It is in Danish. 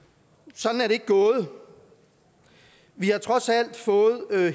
sådan er det ikke gået vi har trods alt fået